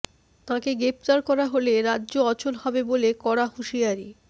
তাঁকে গ্রেফতার করা হলে রাজ্য অচল হবে বলে কড়া হুঁশিয়ারি